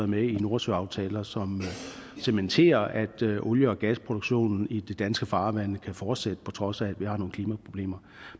med i nordsøaftaler som cementerer at olie og gasproduktionen i de danske farvande kan fortsætte på trods af at vi har nogle klimaproblemer